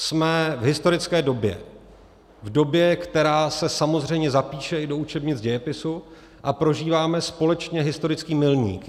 Jsme v historické době, v době, která se samozřejmě zapíše i do učebnic dějepisu, a prožíváme společně historický milník.